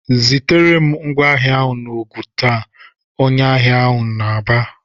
"Zitere m ngwá ahịa n'Ogun taa!" Onye ahịa ahụ bara.